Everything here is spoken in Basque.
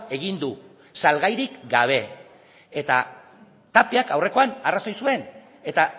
egin du salgairik gabe eta tapiak aurrekoan arrazoi zuen eta